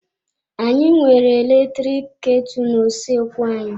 Anyị nwere eletrik ketu na-usoekwu anyị.